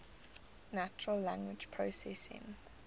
natural language processing